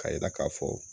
Ka yira k'a fɔ